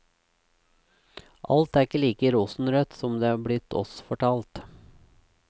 Alt er ikke like rosenrødt som det er blitt oss fortalt.